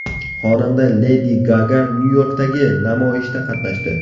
Xonanda Ledi Gaga Nyu-Yorkdagi namoyishda qatnashdi.